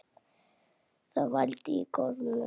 Það vældi í gormum.